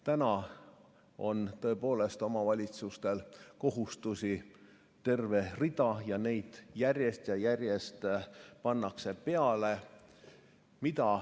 Täna on tõepoolest omavalitsustel terve rida kohustusi ja neid pannakse järjest ja järjest juurde.